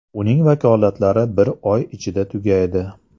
Uning vakolatlari bir oy ichida tugaydi.